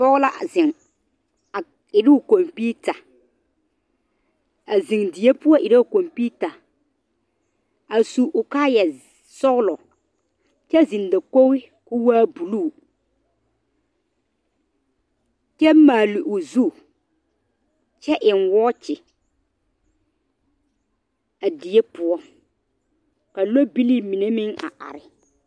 Poge la zeŋ. A iru o komputa. A zeŋ die poʊ iru o komputa. A su o kaaya sɔglɔ kyɛ zeŋ dakoge koo waa buluu. Kyɛ maale o zu, kyɛ eŋ woɔkye a die poʊ. Ka lɔbilii mene meŋ a are